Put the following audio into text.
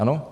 Ano?